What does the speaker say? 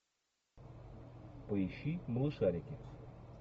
поищи малышарики